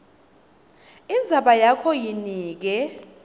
indzaba yakho yinike